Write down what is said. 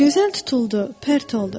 Gözəl tutuldu, pərt oldu.